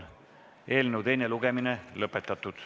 Teine lugemine on lõppenud.